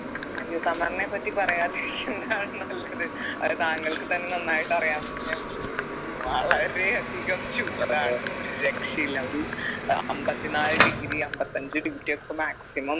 അയ്യോ summer നെ പറ്റി പറയാതിരിക്കുന്നതാണ് നല്ലത് അത് താങ്കൾക്ക് തന്നെ നന്നായിട്ട് അറിയാം എന്ന് ഞാൻ വിശ്വസിക്കുന്നു വളരെ അധികം ചൂടാണ് ഒരു രക്ഷയില്ല ഒരു ഏർ അമ്പത്തിനാല് degree അമ്പത്തഞ്ചു degree ഒക്കെ maximum